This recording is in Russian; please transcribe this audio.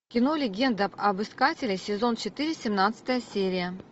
кино легенда об искателе сезон четыре семнадцатая серия